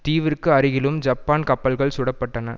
தீவிற்கு அருகிலும் ஜப்பான் கப்பல்கள் சுடப்பட்டன